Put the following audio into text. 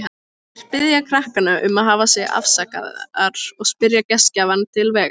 Þær biðja krakkana um að hafa sig afsakaðar og spyrja gestgjafann til vegar.